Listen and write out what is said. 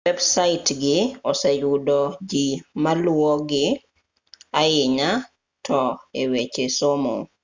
websaitgii oseyudo jii maluwogii ahinya to eweche somo